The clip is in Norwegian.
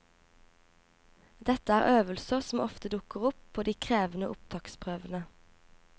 Dette er øvelser som ofte dukker opp på de krevende opptaksprøvene.